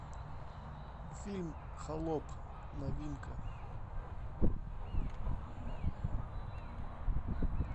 фильм холоп новинка